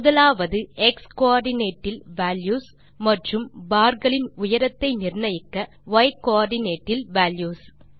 முதலாவது x coordinate இல் values மற்றும் barகளின் உயரத்தை நிர்ணயிக்க y கோஆர்டினேட் இல் வால்யூஸ்